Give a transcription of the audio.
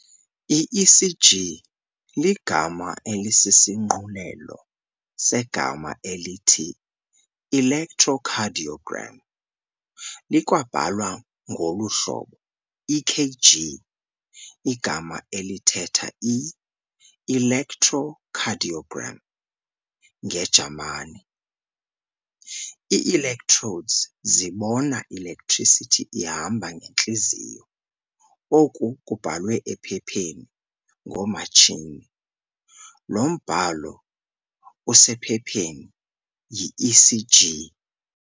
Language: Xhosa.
I-ECG ligama aelisisishunqulelo segama elithi-ElectroCardioGram. likwabhalwa ngolu hlobo EKG igama elithetha i-ElectroKardioGram ngeJamani. Ii-electrodes zibona i-electricity ihamba ngentliziyo. oku kubhalwe ephepheni ngomatshini. lo mbhalo usephepheni yi-ECG.